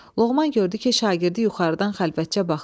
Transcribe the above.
Loğman gördü ki, şagirdi yuxarıdan xəlvətcə baxır.